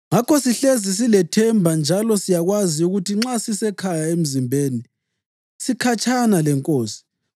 Ngakho sihlezi silethemba njalo siyakwazi ukuthi nxa sisesekhaya emzimbeni, sikhatshana leNkosi.